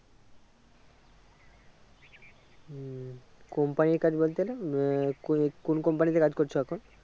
হম company কাজ বলতে গেলে আহ কোন company তে কাজ করছো এখন